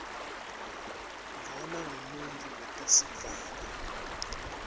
lona ngumuntfu wetesidvwaba